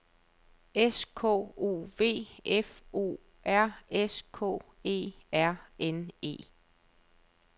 S K O V F O R S K E R N E